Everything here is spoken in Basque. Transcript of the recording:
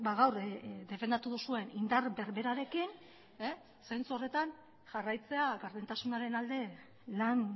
gaur defendatu duzuen indar berberarekin zentzu horretan jarraitzea gardentasunaren alde lan